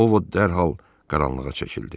Ovot dərhal qaranlığa çəkildi.